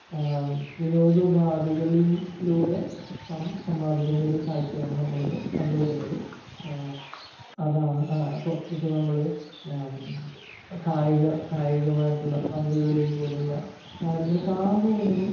വിനോദ ഉപാധികളിലൂടെ പണം സമ്പാദിക്കുന്ന ഒരു കാഴ്ചയാണ് നമ്മൾ ഇന്നു കണ്ടു വരുന്നത്. ആ അതാണ് ഇപ്പോ ഇപ്പോ നമ്മള് കായിക കായികമായിട്ടുള്ള പന്തുകളിയും പോലുള്ള കാര്യങ്ങൾ കാണാൻ പോകുന്നത്.